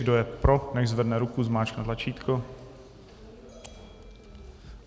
Kdo je pro, nechť zvedne ruku, zmáčkne tlačítko.